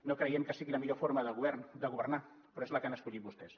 no creiem que sigui la millor forma de governar però és la que han escollit vostès